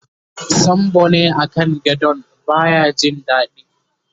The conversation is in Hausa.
sambo ne a kan gadon baya Jin daɗi